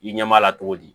I ɲɛ b'a la cogo di